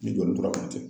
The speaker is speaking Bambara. Ni joli tora ka to ten